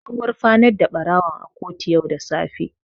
An gurfanar da ɓarawon a kotu yau da safe.